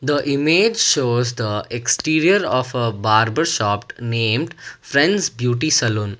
the image shows the exterior of a barber shoped named friends beauty saloon.